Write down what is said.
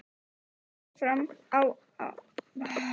Fór fram á að allir boðsgestir yfirgæfu salinn.